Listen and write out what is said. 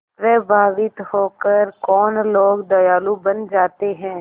प्रभावित होकर कौन लोग दयालु बन जाते हैं